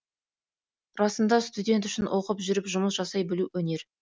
расында студент үшін оқып жүріп жұмыс жасай білу өнер